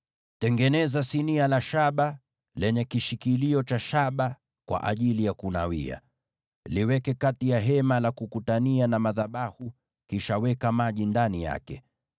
“Tengeneza sinia la shaba lenye kitako cha shaba kwa ajili ya kunawia. Liweke kati ya Hema la Kukutania na madhabahu, kisha uweke maji ndani yake.